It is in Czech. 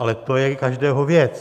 Ale to je každého věc.